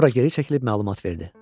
Sonra geri çəkilib məlumat verdi.